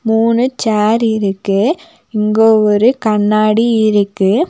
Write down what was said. மூணு சேர் இருக்கு இங்க ஒரு கண்ணாடி இருக்கு.